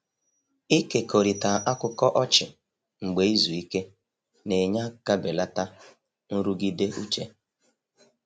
Ịkekọrịta akụkọ ọchị mgbe izu ike na-enye aka belata nrụgide uche.